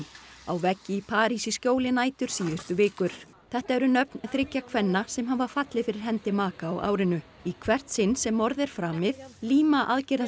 á veggi í París í skjóli nætur síðustu vikur þetta eru nöfn þriggja kvenna sem hafa fallið fyrir hendi maka á árinu í hvert sinn sem morð er framið líma